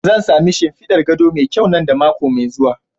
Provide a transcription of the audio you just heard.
Zan sami shimfidar gado mai kyau nan da mako mai zuwa.